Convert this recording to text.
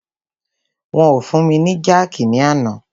Wọn o fún mi ni jákìí ní àná.